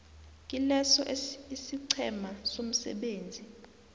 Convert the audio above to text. kileso isiqhema somsebenzi